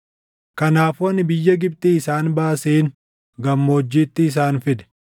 Kanaafuu ani biyya Gibxii isaan baaseen gammoojjiitti isaan fide.